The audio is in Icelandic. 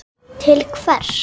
Ósköp sátt og sæl.